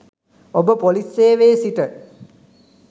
ඔබ ‍පොලිස් සේවයේ සිට